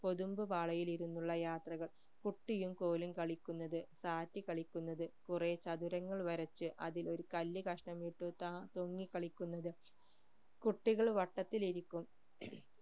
കൊതുമ്പു പാളയിൽ ഇരുന്നുള്ള യാത്രകൾ കുട്ടിയും കോലും കളിക്കുന്നത് താഴ്ത്തിക്കളിക്കുന്നത് കുറെ ചതുരങ്ങൾ വരച്ചു അതിൽ ഒരു കല്ല് കഷ്ണം ഇട്ട് ത പൊങ്ങികളിക്കുന്നത് കുട്ടികൾ വട്ടത്തിൽ ഇരിക്കും